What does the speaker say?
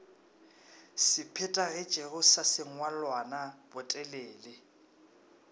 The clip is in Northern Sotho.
se phethagetšego sa sengwalwana botelele